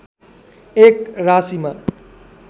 एक राशिमा